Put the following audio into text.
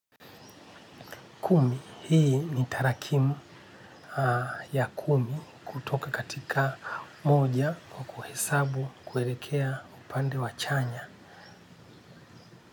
Kumi hii ni tarakimu ya kumi kutoka katika moja wa kuhisabu kuelekea upande wa chanya.